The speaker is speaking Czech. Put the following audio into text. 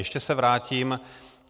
Ještě se vrátím.